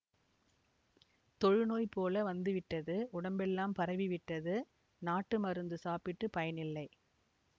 தொழுநோய் போல வந்துவிட்டது உடம்பெல்லாம் பரவிவிட்டது நாட்டு மருந்து சாப்பிட்டுப் பயன் இல்லை